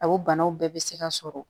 A o banaw bɛɛ bɛ se ka sɔrɔ